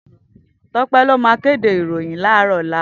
Tope ló má kédé iróyin làáròlá